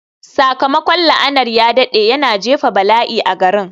Sakamakon la'anar ya daɗe, yana jefa bala'i a garin.